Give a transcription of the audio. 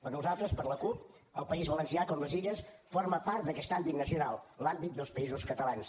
per nosaltres per la cup el país valencià com les illes forma part d’aquest àmbit nacional l’àmbit dels països catalans